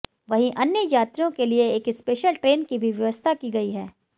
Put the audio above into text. वहीं अन्य यात्रियों के लिए एक स्पेशल ट्रेन की भी व्यवस्था की गई है